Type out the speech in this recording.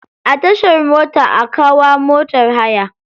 A tashar mota akw hawa motar haya.